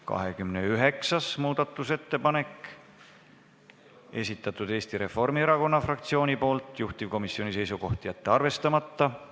29. muudatusettepaneku on esitanud Eesti Reformierakonna fraktsioon, juhtivkomisjoni seisukoht: jätta see arvestamata.